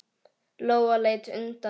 Lóa leit undan.